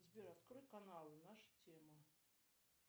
сбер открой каналы наша тема